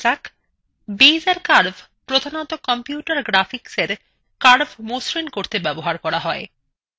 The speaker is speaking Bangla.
বেইজের curves প্রধানতঃ computer graphicsএ curves মসৃন করতে ব্যবহার করা হয়